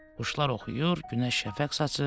Quşlar oxuyur, günəş şəfəq saçır.